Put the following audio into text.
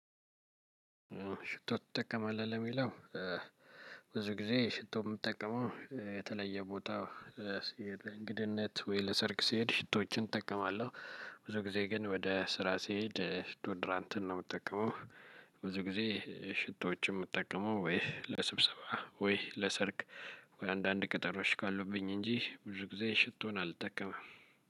ሽቶ ትጠቀማለህ ለሚለው? ብዙ ጊዜ ሽቶ የምጠቀመው የተለየ ቦታ እንግድነት ወይ ለሰርግ ስሄድ ሽቶችን እጠቀማለሁ። ብዙ ጊዜ ግን ወደ ስራ ሲሄድ ዶድራንትን ነው የምትጠቀመው። ብዙ ጊዜ ሽቶዎችን የምጠቀመው ወይ ለስብሰባ ወይ ለሰርግ አንዳንድ ቀጠሮች ካሉብኝ እንጂ ብዙ ጊዜ ሽቶን አልጠቀመም።